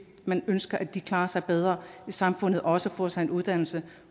man ønsker at de klarer sig bedre i samfundet og også får sig en uddannelse